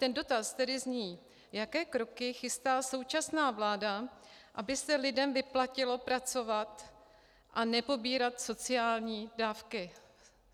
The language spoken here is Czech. Ten dotaz tedy zní, jaké kroky chystá současná vláda, aby se lidem vyplatilo pracovat a nepobírat sociální dávky.